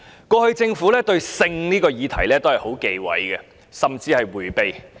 過去，政府對關於性的議題一直非常忌諱，甚至迴避。